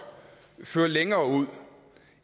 føre længere ud